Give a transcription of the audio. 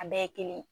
A bɛɛ ye kelen